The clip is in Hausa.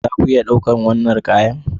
Za ku iya ɗaukar wannan kaya